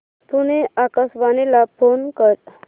पुणे आकाशवाणीला फोन कर